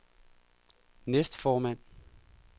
næstformand